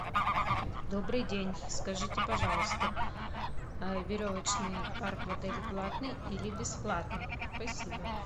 добрый день скажите пожалуйста веревочный парк в отеле платный или бесплатный спасибо